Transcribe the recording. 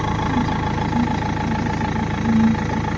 Kontrakt uchun boshqa qoida saqlab qolinmoqda.